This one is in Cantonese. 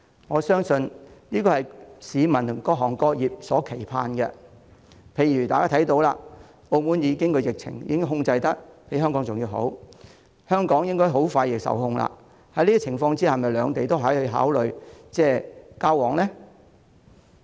我相信這是市民及各行各業所期盼的事，例如大家看到澳門的疫情比香港更為受控，而香港的疫情亦應該快將受控，在這種情況下，兩地可否考慮恢復交通往來呢？